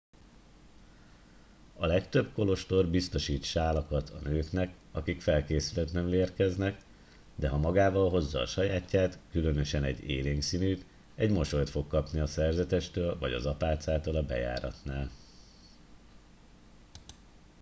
a legtöbb kolostor biztosít sálakat a nőknek akik felkészületlenül érkeznek de ha magával hozza a sajátját különösen egy élénk színűt egy mosolyt fog kapni a szerzetestől vagy az apácától a bejáratnál